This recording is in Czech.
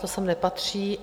To sem nepatří.